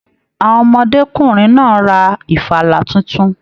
Àwọn ọmọdekùnrin náà rà ìfàlà títún.